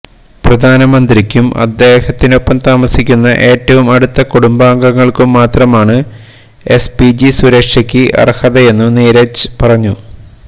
പ്രധാനമന്ത്രിക്കും അദ്ദേഹത്തിനൊപ്പം താമസിക്കുന്ന ഏറ്റവും അടുത്ത കുടുംബാംഗങ്ങൾക്കും മാത്രമാണ് എസ്പിജി സുരക്ഷയ്ക്ക് അർഹതയെന്നും നീരജ് പറഞ്ഞു